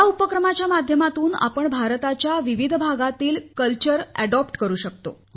या उपक्रमाच्या माध्यमातून आपण भारताच्या विविध भागांतील संस्कृतींची माहिती करून घेऊ शकतो